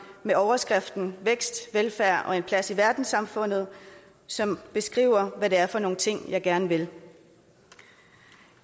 med overskriften vækst velfærd og en plads i verdenssamfundet som beskriver hvad det er for nogle ting jeg gerne vil